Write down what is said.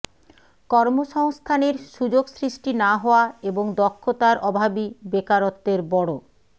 কর্মসংস্থানের সুযোগ সৃষ্টি না হওয়া এবং দক্ষতার অভাবই বেকারত্বের বড়